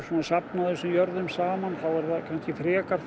safna þessum jörðum saman þá er það kannski frekar